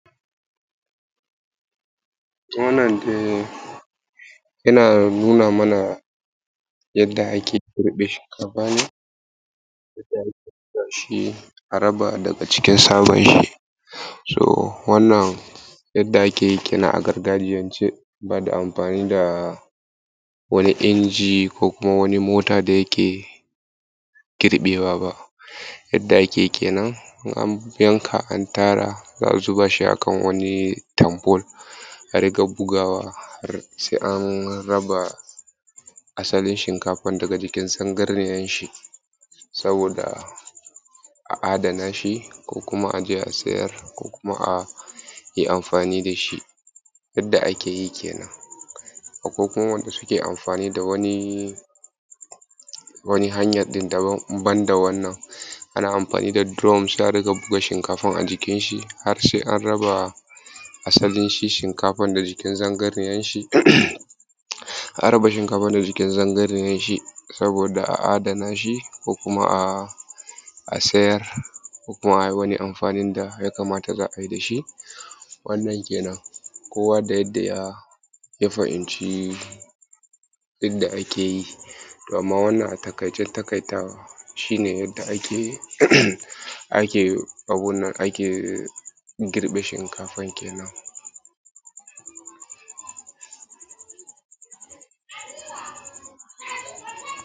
Wannan yana nuna mana yadda ake girbe shinkafa ne yadda ake raba daga cikin tsabar shi. So wannan yadda ake yi kenan a gargajiyance ba da amfani da wani inji ko kuma wani mota da yake girbewa ba yadda ake kenan in an yanka an tara za a zuba shi a kan wani tampol a rika bugawa har sai an raba asalin shinkafar daga jikin sangarniyar shi, saboda a adana shi ko kuma a je a sayar ko kuma a yi amfani da shi yadda ake yi kenan. Akwai kuma wanda suke amfanin wani wani hanya din daban in banda wannan ana amafani da drum sai a riƙa buga shinkafar a jikin shi har sai an raba asalin shi shinkafar da jikin zangarniyar shi um an raba shinkafar da jikin zangarniyar shi.saboda a adana shi ko kuma um a sayar ko kuma a yi wani amfanin da ya kamata za’a yi da shi. Wannan kenan kowa da yadda ya ya fahimci yadda ake yi. To amma wannan a takaicen takaitawa shi ne yadda ake um ake abunnan ake girbe shinkafan kenan